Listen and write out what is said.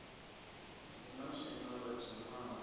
hu na swina ḽo dzhenaho